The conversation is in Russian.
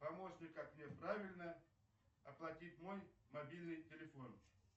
помощник как мне правильно оплатить мой мобильный телефон